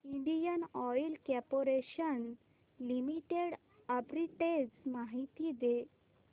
Indian Oil Corporation Limited arbitrage माहिती दे